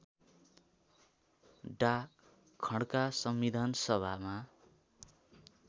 डा खड्का संविधानसभामा